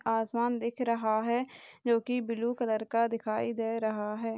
आसमान दिख रहा है जो की ब्लू कलर का दिखाई दे रहा है।